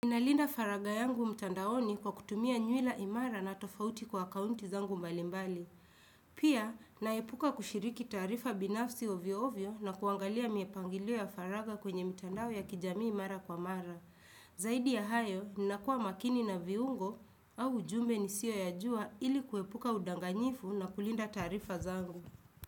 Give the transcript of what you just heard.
Ninalinda faraga yangu mtandaoni kwa kutumia nywira imara na tofauti kwa akaunti zangu mbalimbali. Pia, naepuka kushiriki taarifa binafsi ovyo ovyo na kuangalia mipangilio ya faraga kwenye mitandao ya kijamii mara kwa mara. Zaidi ya hayo, ninakuwa makini na viungo au ujumbe nisiyoyajua ili kuepuka udanganyifu na kulinda taarifa zangu.